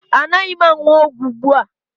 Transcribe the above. Anaghị m aṅụ ọgwụ ugbu a